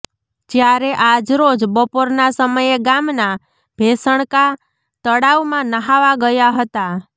જ્યારે આજરોજ બપોરના સમયે ગામના ભેસણકા તળાવમાં નહાવા ગયા હતા